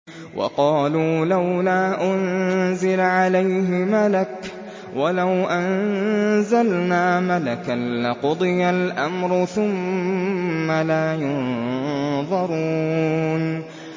وَقَالُوا لَوْلَا أُنزِلَ عَلَيْهِ مَلَكٌ ۖ وَلَوْ أَنزَلْنَا مَلَكًا لَّقُضِيَ الْأَمْرُ ثُمَّ لَا يُنظَرُونَ